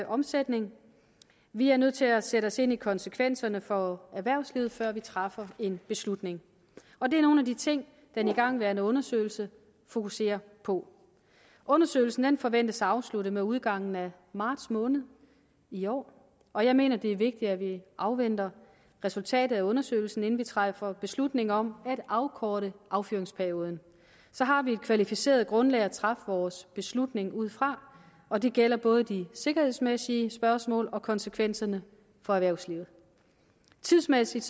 omsætning vi er nødt til at sætte os ind i konsekvenserne for erhvervslivet før vi træffer en beslutning og det er nogle af de ting den igangværende undersøgelse fokuserer på undersøgelsen forventes afsluttet med udgangen af marts måned i år og jeg mener det er vigtigt at vi afventer resultatet af undersøgelsen inden vi træffer beslutning om at afkorte affyringsperioden så har vi et kvalificeret grundlag at træffe vores beslutning ud fra og det gælder både de sikkerhedsmæssige spørgsmål og konsekvenserne for erhvervslivet tidsmæssigt